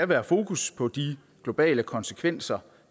være fokus på de globale konsekvenser